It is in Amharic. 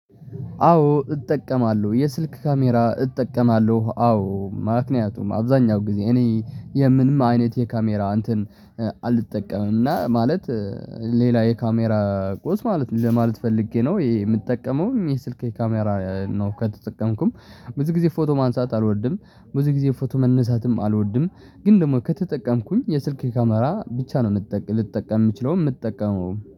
አዎ እጠቀማለሁ የስልክ ካሜራ እጠቀማለሁ አዎ ምክንያቱም አብዛኛው ጊዜ እኔ የምንም አይነት የካሜራ እንትን አልጠቀምም እና ማለት ሌላ የካሜራ ቁስ ማለት ለማለት ፈልጌ ነው ይሄ የምጠቀመው ይሄ ስልኬ ካሜራ ነው። ከተጠቀምኩም ብዙ ጊዜ ፎቶ ማንሳት አልወድም ብዙ ጊዜ ፎቶ መነሳትም አልወድም። ግን ደግሞ ከተጠቀምኩኝ የስልኬ ካሜራ ብቻ ነው ልጠቀም የምችለው የምጠቀመውም